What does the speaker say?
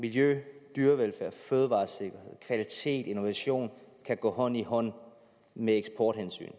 miljø dyrevelfærd fødevaresikkerhed kvalitet og innovation kan gå hånd i hånd med eksporthensynet